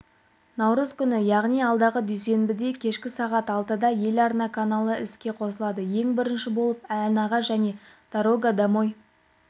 наурыз күні яғни алдағы дүйсенбіде кешкі сағат алтыда ел арна каналы іске қосылады ең бірінші болып ән аға және дорога домой